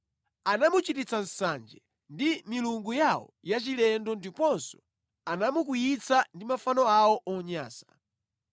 Anamuchititsa nsanje ndi milungu yawo yachilendo ndiponso anamukwiyitsa ndi mafano awo onyansa.